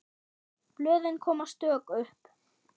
Blöðin koma stök upp.